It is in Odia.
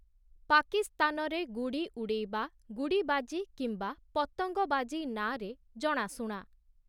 ପାକିସ୍ତାନରେ ଗୁଡ଼ି ଉଡ଼େଇବା, ଗୁଡ଼ି ବାଜି କିମ୍ବା ପତଙ୍ଗ ବାଜି ନାଁରେ ଜଣାଶୁଣା ।